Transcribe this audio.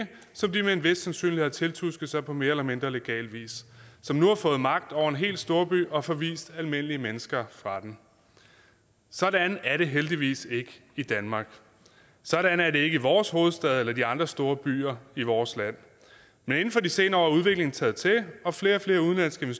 som de med en vis sandsynlighed har tiltusket sig på mere eller mindre legal vis som nu har fået magt over en hel storby og forvist almindelige mennesker fra den sådan er det heldigvis ikke i danmark sådan er det ikke i vores hovedstad eller i de andre store byer i vores land men inden for de senere år er udviklingen taget til og flere og flere udenlandske